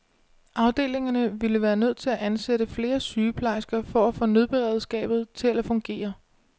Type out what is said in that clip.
Afdelingerne ville være nødt til at ansætte flere sygeplejersker for at få nødberedskabet til at fungere.